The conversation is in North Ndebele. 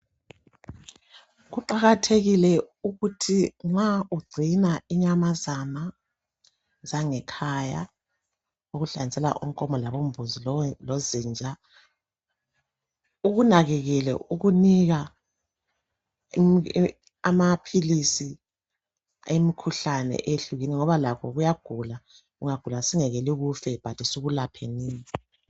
Kuqakathekile ukuthi nxa ugcina inyamazana zangekhaya okuhlanganisela onkomo labombuzi lozinja ,ukunakekele ukunika amaphilisi emikhuhlane ehlukeneyo ngoba lakho kuyagula .Kungagula singakweli kufe bantu sikulaphenini